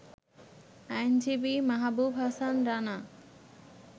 আইনজীবী মাহাবুব হাসান রানা